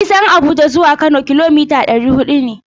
Nisan tafiyar Abuja zuwa Kano kilomita ɗari huɗu ne.